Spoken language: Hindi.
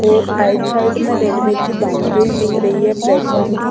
और राइट साइड में रेलवे की बाउंड्रीज दिख रही है प्लेटफार्म की।